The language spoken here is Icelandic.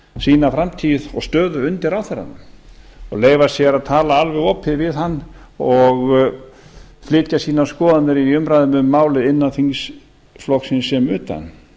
sína framtíð og stöðu undir ráðherranum og leyfa sér að tala alveg opið við hann og flytja sínar skoðanir í umræðum um málið innan þingflokksins sem utan